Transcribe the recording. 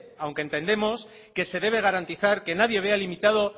aunque entendemos que se debe garantizar que nadie vea limitado